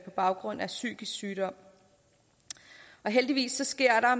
baggrund af psykisk sygdom heldigvis sker der